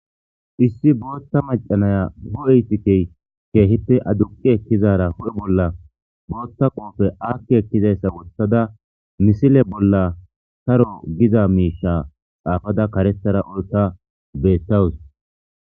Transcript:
Issi botha macanaya huphe ikiseyi kehipe aduqi ekizara ba huphe bolla botha kope wothada misile bolla saro giza mishay xapada karethara bothara betawus